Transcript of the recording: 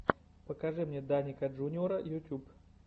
покажи мне даника джуниора ютуб